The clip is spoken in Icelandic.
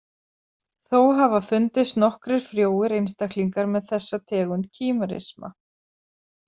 Þó hafa fundist nokkrir frjóir einstaklingar með þessa tegund kímerisma.